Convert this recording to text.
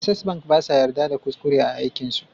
Access bank basa yadda da kuskure a aikin su